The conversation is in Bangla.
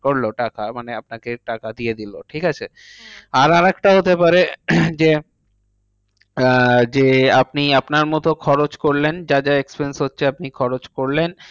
করলো টাকা। মানে আপনাকে টাকা দিয়ে দিলো। ঠিকাছে? হ্যাঁ আর আরেকটা হতে পারে যে, আহ যে, আপনি আপনার মতো খরচ করলেন যা যা expense হচ্ছে আপনি খরচ করলেন।